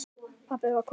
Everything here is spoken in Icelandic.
Pabbi var kominn.